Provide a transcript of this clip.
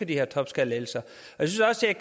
de her topskattelettelser